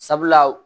Sabula